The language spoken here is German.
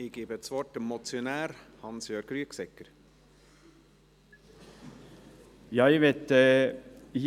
Der Motionär, Grossrat Rüegsegger, hat erneut das Wort.